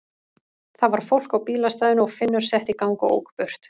Það var fólk á bílastæðinu og Finnur setti í gang og ók burt.